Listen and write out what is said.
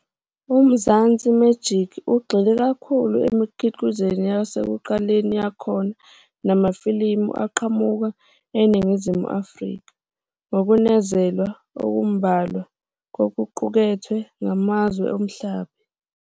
UMzansi Magic ugxile kakhulu emikhiqizweni yasekuqaleni yakhona nakumafilimu aqhamuka eNingizimu Afrika, ngokunezelwa okumbalwa kokuqukethwe kwamazwe omhlaba.